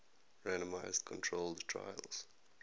randomized controlled trials